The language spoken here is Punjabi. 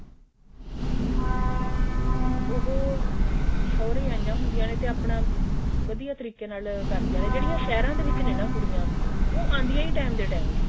ਉਹ ਸੋਹਰੇ ਆਈਆਂ ਹੁੰਦੀਆਂ ਨੇ ਤੇ ਆਪਣਾ ਵਧੀਆ ਤਰੀਕੇ ਨਾਲ ਕਰਦਿਆਂ ਨੇ ਜਿਹੜੀਆਂ ਸਹਿਰਾਂ ਦੇ ਵਿੱਚ ਨਾ ਨੇ ਕੁੜੀਆਂ ਉਹ ਆਉਂਦੀਆਂ ਹੀ time ਦੇ time ਨੇ